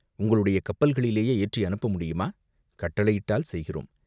"உங்களுடைய கப்பல்களிலேயே ஏற்றி அனுப்ப முடியுமா?" "கட்டளையிட்டால் செய்கிறோம்.